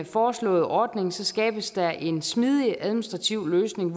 foreslåede ordning skabes der en smidig administrativ løsning